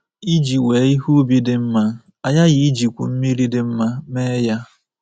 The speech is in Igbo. Iji wee ihe ubi dị mma, a ghaghị ijikwu mmiri dị mma mee ya.